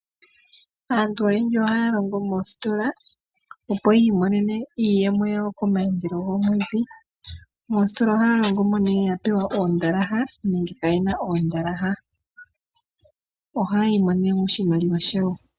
Aantu oyendji ohaya longo moositola opo yi imonene iiyemo yawo komaandelo gomwedhi. Moositola ohaya longo nee yena oondalaha nenge kayena oondalaha. Ohaya imonene oshimaliwa shawo.